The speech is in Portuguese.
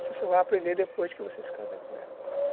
Você só vai aprender depois que você se casar com ela.